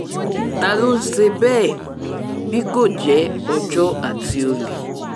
ta ló ń ṣe bẹ́ẹ̀ bí kò jẹ́ ọjọ́ àti olè